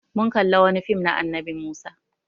Mun kalla wani fim na annabi Musa.